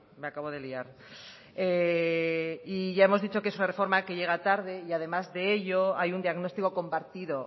me acabo de liar y ya hemos dicho que es una reforma que llega tarde y además de ello hay un diagnóstico compartido